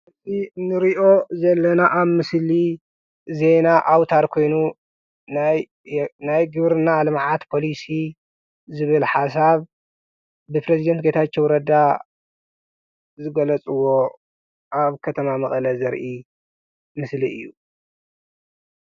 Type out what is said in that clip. እቲ እንሪኦ ዘለና ኣብ ምስሊ ዜና ኣውታር ኾይኑ ናይ ግብርና ልምዓት ፖሊሲ ዝብል ሓሳብ ብፕረዚዳንት ጌታቸው ረዳ ዝገለፅዎ ኣብ ከተማ መቀለ ዘርኢ ምስሊ እዪ።